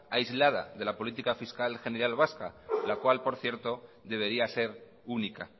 aislada de lapolítica fiscal general vasca la cual por cierto debería ser única